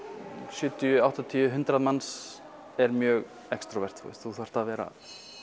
sjötíu áttatíu hundrað manns er mjög þú þarft að vera